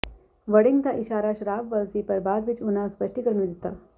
ਵੜਿੰਗ ਦਾ ਇਸ਼ਾਰਾ ਸ਼ਰਾਬ ਵੱਲ ਸੀ ਪਰ ਬਾਅਦ ਵਿੱਚ ਉਨ੍ਹਾਂ ਸਪੱਸ਼ਟੀਕਰਨ ਵੀ ਦਿੱਤਾ